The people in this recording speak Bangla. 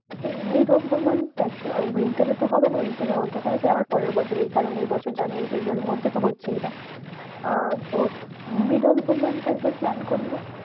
Mid of the month দেখ winter এ তো হবে না। winter এ হতে গেলে সেই আবার পরের বছর। এই কারণ এই বছর জানুয়ারী ফেব্রুয়ারীর মধ্যে তো হচ্ছেই না। আহ তো mid of the month একবার plan করলে